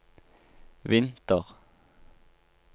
vinter